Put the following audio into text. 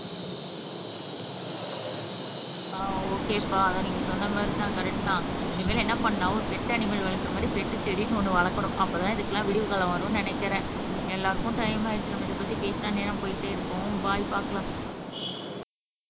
ஆஹ் ஒகேப்பா ஆனா நீங்க சொன்ன மாதிரி தான் கரெக்ட் தான் இனிமேல் என்ன பண்ணாலும் பெட் அனிமல் வளர்க்கற மாறி பெட் செடின்னு ஒண்ணு வளர்க்கணும் அப்பத்தான் இதுக்கெல்லாம் விடிவுகாலம் வரும் என நினைக்கிறேன் எல்லாருக்கும் டைம் ஆயிடுச்சி நம்ம இத பத்தி பேசுனா நேரம் போயிட்டே இருக்கும் பாய் பார்க்கலாம்